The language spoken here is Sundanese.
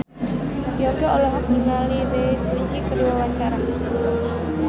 Yongki olohok ningali Bae Su Ji keur diwawancara